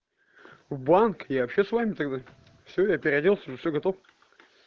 в банк я вообще с вами тогда всё я переоделся ну все готов